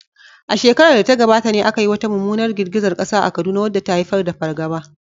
A shekarar da ta gabata ne aka yi wata mummunar girgizar kasa a Kaduna wadda ta haifar da fargaba.